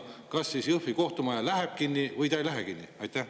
Kas Jõhvi kohtumaja läheb kinni või ta ei lähe kinni?